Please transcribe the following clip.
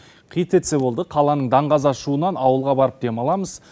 қи тетсе болды қаланың даң қаза шуынан ауылға барып дем аламыз